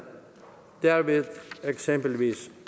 derved eksempelvis